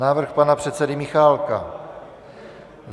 Návrh pana předsedy Michálka.